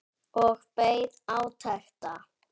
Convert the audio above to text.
Og beið átekta.